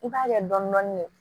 I b'a kɛ dɔɔnin dɔɔnin ye